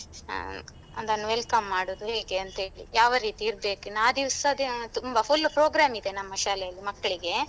ಹಾ ಅದನ್ನು welcome ಮಾಡುದು ಹೇಗೆ ಅಂತೇಳಿ ಯಾವ ರೀತಿ ಇರ್ಬೇಕು ಇನ್ನು ಆ ದಿವ್ಸದ್ದೆ ಆ ತುಂಬ full program ಇದೆ ನಮ್ಮ ಶಾಲೆಯಲ್ಲಿ ಮಕ್ಕಳಿಗೆ.